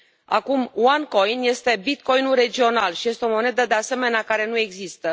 Acum, OneCoin este Bitcoinul regional și este o monedă, de asemenea, care nu există.